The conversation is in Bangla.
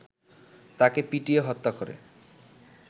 তাকে পিটিয়ে হত্যা করে